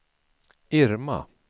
Irma